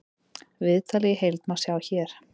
Viðtalið í heild má sjá hér